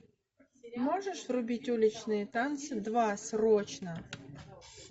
можешь врубить уличные танцы два срочно